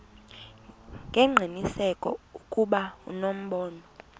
ngengqiniseko ukuba unobomi